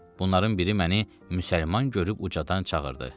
Bunların biri məni müsəlman görüb ucadan çağırdı.